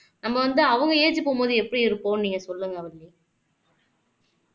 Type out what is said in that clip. நம்ம வந்து அவங்க ஏஜ் போம்போது எப்படி இருப்போம்ன்னு நீங்க சொல்லுங்க வள்ளி